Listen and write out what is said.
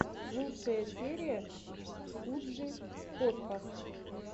лучшая серия куджи подкаст